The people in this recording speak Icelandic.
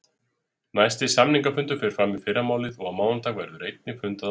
Næsti samningafundur fer fram í fyrramálið og á mánudag verður einnig fundað áfram.